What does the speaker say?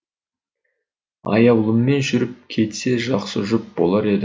аяулыммен жүріп кетсе жақсы жұп болар еді